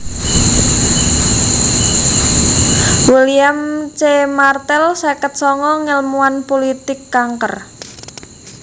William C Martel seket sanga ngèlmuwan pulitik kanker